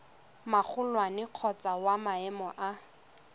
magolwane kgotsa wa maemo a